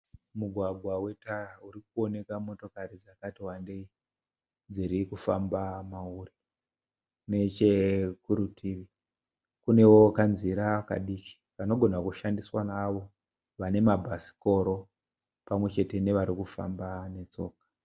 Mugwagwa wetara uri kuwoneka motokari dzakati wandei dziri kufamba mauri. Nechekurutivi kunewo kanzira kadiki kanogona kushandiswa neavo vane mabhasikoro pamwe chete nevari kufamba netsoka.